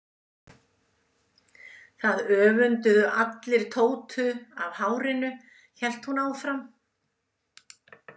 Það öfunduðu allir Tótu af hárinu, hélt hún áfram.